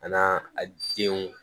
An n'aa a denw